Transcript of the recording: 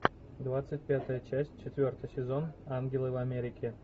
двадцать пятая часть четвертый сезон ангелы в америке